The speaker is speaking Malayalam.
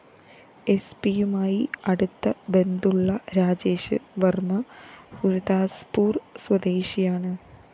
എസ്പിയുമായി അടുത്ത ബന്ധുള്ള രാജേഷ് വര്‍മ്മ ഗുരുദാസ്പ്പൂര്‍ സ്വദേശിയാണ്